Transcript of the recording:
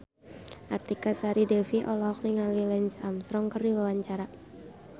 Artika Sari Devi olohok ningali Lance Armstrong keur diwawancara